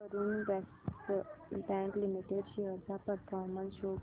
Karur Vysya bank limited shares चा performance show कर